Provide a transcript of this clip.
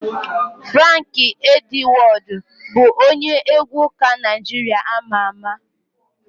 Franki Edwọdụ bụ onye egwu ụka Naijiria ama ama.